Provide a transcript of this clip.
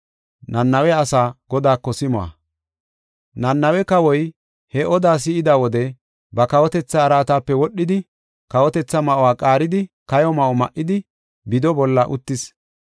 Nanawe kawoy he oda si7ida wode ba kawotetha araatape wodhidi, kawotetha ma7uwa qaaridi kayo ma7o ma7idi bido bolla uttis.